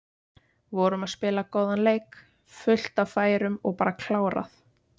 Vorum að spila góðan leik, fullt af færum og bara klárað.